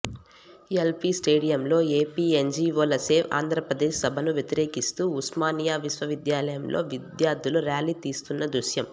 LP స్టేడియంలో ఎపిఎన్జీవోల save Andhra Pradesh సభను వ్యతిరేకిస్తూ ఉస్మానియా విశ్వవిద్యాలయంలో విద్యార్థులు ర్యాలీ తీస్తున్న దృశ్యం